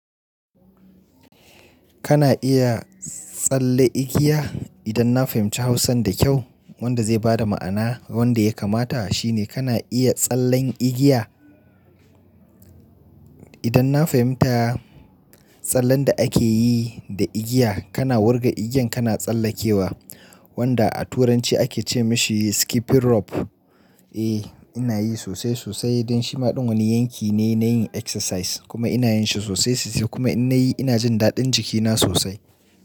Kana iya tsalle igiya? Idan na fahimci Hausan da kyau wanda zai bada ma'ana wanda ya kamata shine kana iya tsallen igiya? Idan na fahimta tsallen da ake yi da igiya kana wurga igiyan kana tsallakewa wanda a turanci ake ce mashi skipping rope. Eh ina yi sosai sosai dan shima ɗin wani yanki ne na yin exercise kuma ina yin shi sosai sosai kuma in na yi ina jin daɗin jikina sosai.